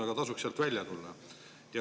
Aga tasuks sealt välja tulla.